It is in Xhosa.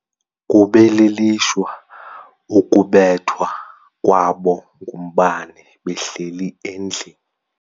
Kube lilishwa ukubethwa kwabo ngumbane behleli endlini.